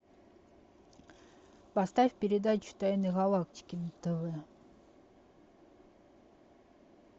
поставь передачу тайны галактики на тв